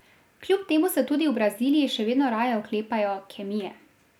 Kljub temu se tudi v Braziliji še vedno raje oklepajo kemije.